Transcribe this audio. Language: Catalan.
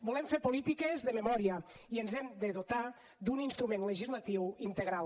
volem fer polítiques de memòria i ens hem de dotar d’un instrument legislatiu integral